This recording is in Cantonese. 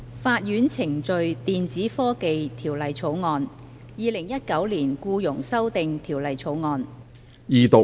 《法院程序條例草案》《2019年僱傭條例草案》。